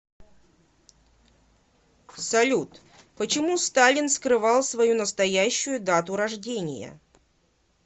салют почему сталин скрывал свою настоящую дату рождения